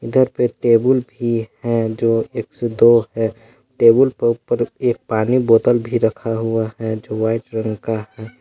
Table भी है जो एक से दो है टेबुल पर एक पानी का बोतल भी रखा हुआ है जो वाइट रंग का है।